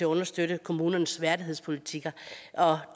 understøtte kommunernes værdighedspolitikker og